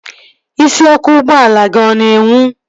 Isiọkụ ụgbọala gị ọ na-enwu?